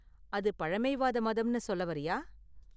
அது பழமைவாத மதம்னு சொல்ல வரியா?